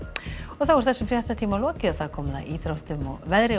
þá er þessum fréttatíma lokið og komið að íþróttum og veðri og